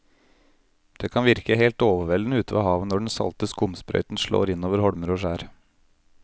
Det kan virke helt overveldende ute ved havet når den salte skumsprøyten slår innover holmer og skjær.